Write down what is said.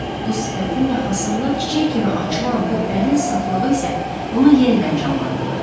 Bu sifətin yaxasında çiçək kimi açılan bu əlin saflığı isə onu yenidən canlandırırdı.